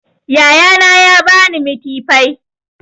Yaya na ya ba ni mitifai